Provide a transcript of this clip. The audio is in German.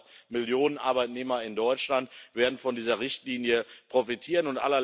Das heißt, auch Millionen Arbeitnehmer in Deutschland werden von dieser Richtlinie profitieren.